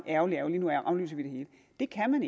ærgerligt ærgerligt nu aflyser vi det hele det kan man